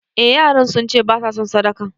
Eh yaran sunce basa son sadakan